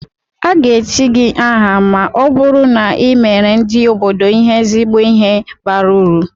Aga-echi gị aha ma ọ bụrụ na i meere ndị obodo ihe ezigbo ihe bara uru